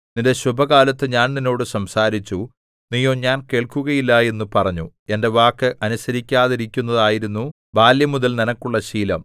നിന്റെ ശുഭകാലത്തു ഞാൻ നിന്നോട് സംസാരിച്ചു നീയോ ഞാൻ കേൾക്കുകയില്ല എന്നു പറഞ്ഞു എന്റെ വാക്ക് അനുസരിക്കാതിരിക്കുന്നതായിരുന്നു ബാല്യംമുതൽ നിനക്കുള്ള ശീലം